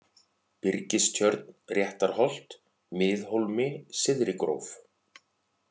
Byrgistjörn, Réttarholt, Miðhólmi, Syðrigróf